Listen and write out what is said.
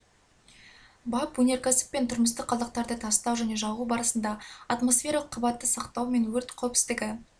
бап өнеркәсіп пен тұрмыстық қалдықтарды тастау және жағу барысында атмосфералық қабатты сақтау мен өрт кауіпсіздігі